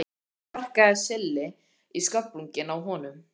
Loks sparkaði Silli í sköflunginn á honum.